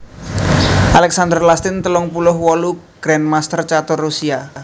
Alexander Lastin telung puluh wolu grandmaster catur Rusia